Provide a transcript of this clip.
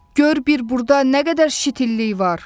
Gör bir burda nə qədər şitillik var!